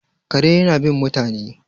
kare yana bin mutane